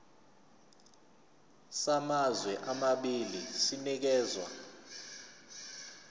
samazwe amabili sinikezwa